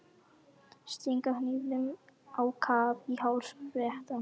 Stinga hnífnum á kaf í háls Bretans.